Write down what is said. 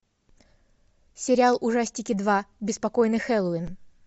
сериал ужастики два беспокойный хэллоуин